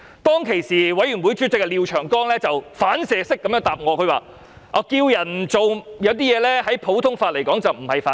當時法案委員會主席廖長江議員反射式回答我："呼籲別人不要做某些事情，在普通法上並不是犯法"。